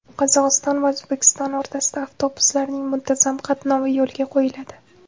Qozog‘iston va O‘zbekiston o‘rtasida avtobuslarning muntazam qatnovi yo‘lga qo‘yiladi.